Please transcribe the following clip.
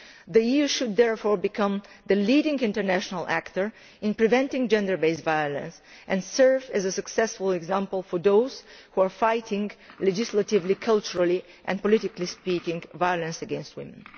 The European Union should therefore become the leading international actor in preventing gender based violence and serve as a successful example for those who are legislatively, culturally and politically speaking fighting violence against women.